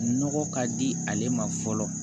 Nɔgɔ ka di ale ma fɔlɔ